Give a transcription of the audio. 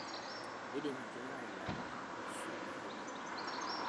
Keidim ilkeek ailepa aashu eirugo.